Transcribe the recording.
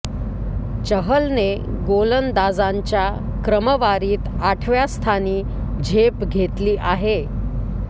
चहलने गोलंदाजांच्या क्रमवारीत आठव्या स्थानी झेप घेतली आहे